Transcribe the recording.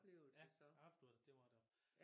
Ja ja absolut det var det